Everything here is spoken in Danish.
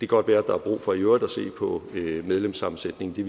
godt være at der er brug for i øvrigt at se på medlemssammensætningen det